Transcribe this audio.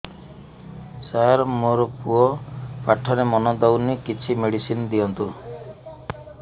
ସାର ମୋର ପୁଅ ପାଠରେ ମନ ଦଉନି କିଛି ମେଡିସିନ ଦିଅନ୍ତୁ